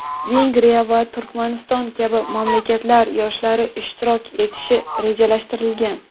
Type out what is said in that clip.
Vengriya va Turkmaniston kabi mamlakatlar yoshlari ishtirok etishi rejalashtirilgan.